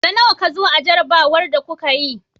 Na nawa ka zo a jarrabawar da kuka yi?